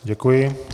Děkuji.